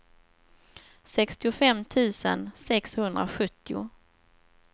sextiofem tusen sexhundrasjuttio